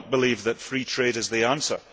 I do not believe that free trade is the answer.